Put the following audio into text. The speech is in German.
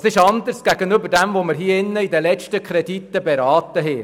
– Was ist anders als bei den letzten Krediten, die wir hier beraten haben?